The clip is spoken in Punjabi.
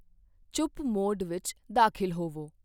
ਚੁੱਪ ਮੋਡ ਵਿੱਚ ਦਾਖਲ ਹੋਵੋ।